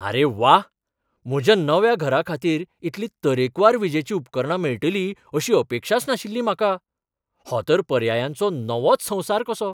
आरे वा! म्हज्या नव्या घराखातीर इतलीं तरेकवार विजेचीं उपकरणां मेळटलीं अशी अपेक्षाच नाशिल्ली म्हाका. हो तर पर्यायांचो नवोच संवसार कसो!